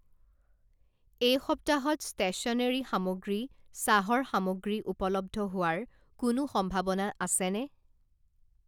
এই সপ্তাহত ষ্টেশ্যনেৰি সামগ্ৰী, চাহৰ সামগ্ৰী উপলব্ধ হোৱাৰ কোনো সম্ভাৱনা আছেনে ?